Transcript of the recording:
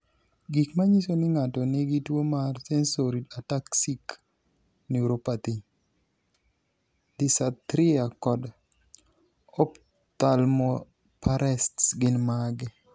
Gik manyiso ni ng'ato nigi tuwo mar sensory ataxic neuropathy, dysarthria, kod ophthalmoparesis gin mage?